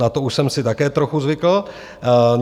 Na to už jsem si také trochu zvykl.